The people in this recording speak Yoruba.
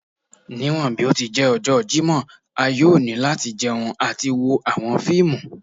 Niwọn bi o ti jẹ ọjọ Jimọ a yoo ni lati jẹun ati wo awọn fiimu